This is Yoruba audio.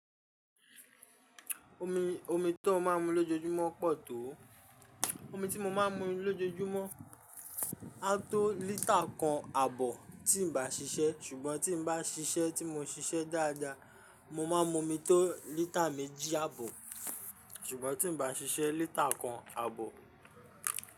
Omi, omi tó máa ń mu lójoójúmọ́ pọ̀ tó. Omi tí mo máa ń mu lójoójúmọ́ á tó lita kan àbọ̀ tí ǹ bá ṣiṣẹ́, ṣùgbọ́n tí ǹ bá ṣiṣẹ́ tí mo ṣiṣẹ́ dáadáa, mo máa ń mu omi tó lítà méjì àbọ̀, ṣùgbọ́n tí ǹ bá ṣiṣẹ́ lítà kan àbọ̀.